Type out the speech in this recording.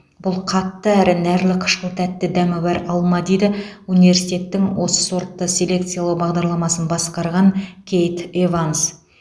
бұл қатты әрі нәрлі қышқыл тәтті дәмі бар алма дейді университеттің осы сортты селекциялау бағдарламасын басқарған кейт эванс